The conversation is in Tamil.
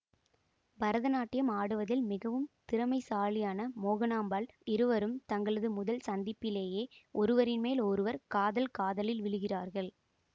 பரதநாட்டியம் ஆடுவதில் மிகவும் திறமைசாலியான மோகனாம்பாள் இருவரும் தங்களது முதல் சந்திப்பிலேயே ஒருவரின் மேல் ஒருவர் காதல் காதலில் விழுகிறார்கள்